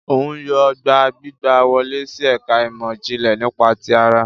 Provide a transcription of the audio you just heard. Òun yóò gbà gbígbà wọle si ẹka imọ-jinlẹ nípa ti àrà